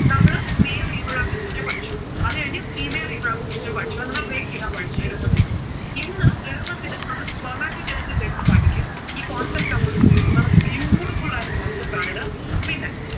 നമ്മൾ male reproductive system പഠിച്ചു. അത് കഴിഞ്ഞു female reproductive system പഠിച്ചു. അതിനെ break ചെയ്താ പഠിച്ചേ എളുപ്പത്തിന്. ഇന്ന് എളുപ്പത്തിന് നമ്മൾ spermatogenesis എടുത്തു പഠിക്കും. ഈ cocept അങ്ങൊട് തീർക്കും. നല്ല beatiful ആയിട്ടുള്ള concept ആണിത്. പിന്നെ